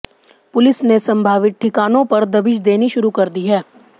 police ने संभावित ठिकानों पर दबिश देनी शुरू कर दी है